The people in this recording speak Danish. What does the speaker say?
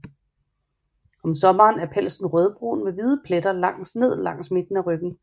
Om sommeren er pelsen rødbrun med hvide pletter ned langs midten af ryggen